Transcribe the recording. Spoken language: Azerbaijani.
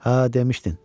Hə, demişdin.